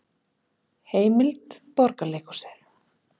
Heimild: Borgarleikhúsið